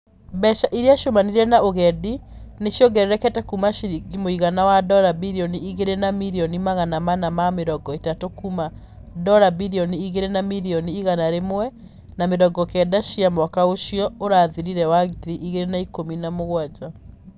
Mbeca iria ciumanire na ũgendi nĩ ciongererekete kuuma ciringi mũigana wa dora birioni igĩrĩ na mirioni magana mana na mĩrongo ĩtatũ kuuma dora birioni igĩrĩ na mirioni igana rĩmwe na mĩrongo kenda cia mwaka ũcio ũrathirire wa ngiri igĩrĩ na ikũmi na mũgwanja.